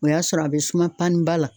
O y'a sɔrɔ a bɛ suma paniba la.